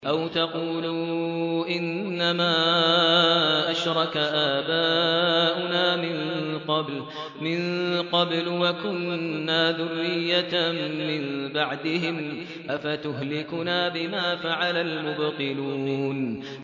أَوْ تَقُولُوا إِنَّمَا أَشْرَكَ آبَاؤُنَا مِن قَبْلُ وَكُنَّا ذُرِّيَّةً مِّن بَعْدِهِمْ ۖ أَفَتُهْلِكُنَا بِمَا فَعَلَ الْمُبْطِلُونَ